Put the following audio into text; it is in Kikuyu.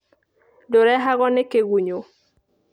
Ndũrehagwo nĩ kĩgunyũ.